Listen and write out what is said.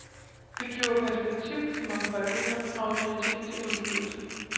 Det giver perspektiv i mangfoldigheden og autoritet til udgivelsen.